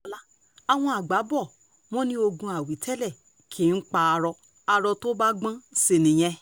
faith adébọlá àwọn àgbà bò wọ́n ní ogún àwítẹ́lẹ̀ kì í pa aró aró tó bá gbọ́n sí nìyẹn